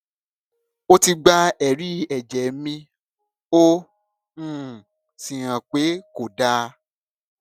ó ti gba èrí ẹjẹ mi ó um sì hàn pé kò dáa